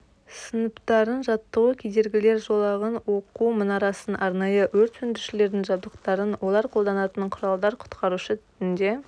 сыныптарын жаттығу кедергілер жолағын оқу мұнарасын арнайы өрт сөндірушілердің жабдықтарын олар қолданатын құралдар құтқарушы түтінде